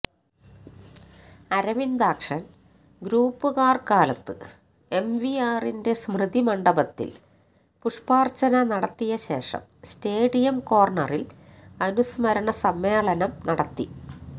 അരവിന്ദാക്ഷന് ഗ്രൂപ്പുകാര് കാലത്ത് എംവിആറിന്റെ സ്മൃതി മണ്ഡപത്തില് പുഷ്പാര്ച്ചന നടത്തിയ ശേഷം സ്റ്റേഡിയം കോര്ണറില് അനുസ്മരണ സമ്മേളനം നടത്തി